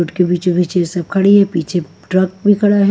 उसके पीछे-पीछे सब खड़ी हैं पीछे ट्रक भी खड़ा है।